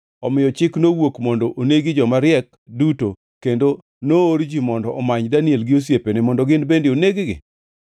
Omiyo chik nowuok mondo onegi joma riek duto, kendo noor ji mondo omany Daniel gi osiepene, mondo gin bende oneg-gi.